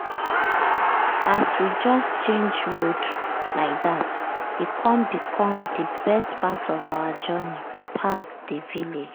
as we just change road like dat e com become di best part of our journey pass di village.